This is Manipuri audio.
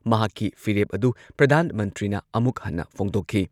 ꯃꯍꯥꯛꯀꯤ ꯐꯤꯔꯦꯞ ꯑꯗꯨ ꯄ꯭ꯔꯙꯥꯟ ꯃꯟꯇ꯭ꯔꯤꯅ ꯑꯃꯨꯛ ꯍꯟꯅ ꯐꯣꯡꯗꯣꯛꯈꯤ꯫